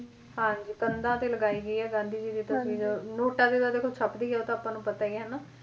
ਹਾਂਜੀ ਕੰਧਾਂ ਤੇ ਲਗਾਈ ਗਈ ਆ ਗਾਂਧੀ ਜੀ ਦੀ ਤਸਵੀਰ ਨੂੰ ਨੋਟਾਂ ਤੇ ਤਾਂ ਦੇਖੋ ਛਪਦੀ ਆ ਉਹ ਤਾਂ ਆਪਾਂ ਨੂੰ ਪਤਾ ਹੀ ਆ ਹਨਾਂ।